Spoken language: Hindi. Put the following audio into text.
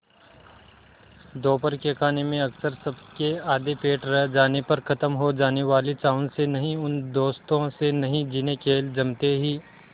दोपहर के खाने में अक्सर सबके आधे पेट रह जाने पर ख़त्म हो जाने वाले चावल से नहीं उन दोस्तों से नहीं जिन्हें खेल जमते ही